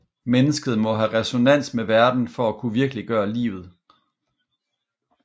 Mennesket må have resonans med verden for at kunne virkeliggøre livet